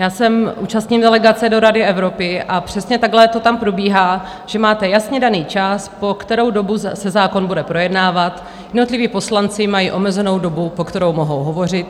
Já se účastním delegace do Rady Evropy a přesně takhle to tam probíhá, že máte jasně daný čas, po kterou dobu se zákon bude projednávat, jednotliví poslanci mají omezenou dobu, po kterou mohou hovořit.